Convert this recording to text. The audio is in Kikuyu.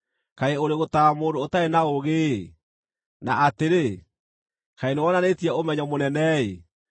Kaĩ ũrĩ gũtaara mũndũ ũtarĩ na ũũgĩ-ĩ! Na atĩrĩ, kaĩ nĩwonanĩtie ũmenyo mũnene-ĩ!